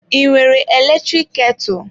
I nwere eletrik ketụ?